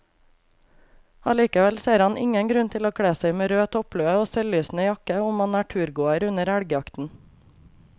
Allikevel ser han ingen grunn til å kle seg med rød topplue og selvlysende jakke om man er turgåer under elgjakten.